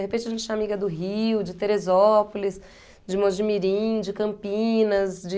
De repente a gente tinha amiga do Rio, de Teresópolis, de Mogi Mirim, de Campinas, de...